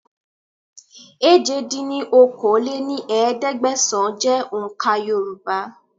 èje dín ní okòó-lé-ní-ẹ̀ẹ́dẹ́gbẹ́sán jẹ́ òun ká Yorùbá